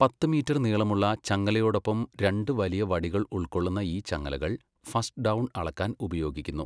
പത്ത് മീറ്റർ നീളമുള്ള ചങ്ങലയോടൊപ്പം രണ്ട് വലിയ വടികൾ ഉൾക്കൊള്ളുന്ന ഈ ചങ്ങലകൾ ഫസ്റ്റ് ഡൗൺ അളക്കാൻ ഉപയോഗിക്കുന്നു.